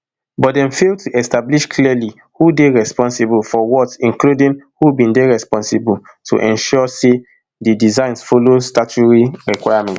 but dem fail to establish clearly who dey responsible for what including who bin dey responsible to ensure say di designs follow statutory requirements